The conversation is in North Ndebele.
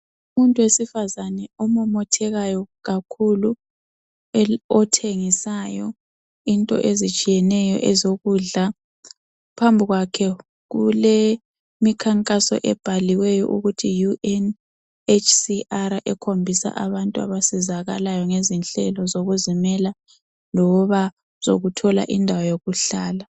Umuntu wesifazana omomothekayo kakhulu othengisayo into ezitshiyeneyo ezokudla. Phambi kwakhe kulemikhankaso ebhaliweyo ukuthi UNNCHR ekhombisa abantu abasizakalayo ngezinhlelo zokuzimela loba zokuthola indawo yokuhlala.